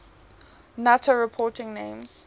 nato reporting names